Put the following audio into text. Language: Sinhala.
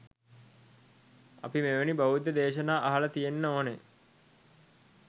අපි මෙවැනි බුද්ධ දේශනා අහලා තියෙන්න ඕන